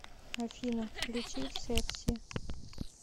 афина включи сэтси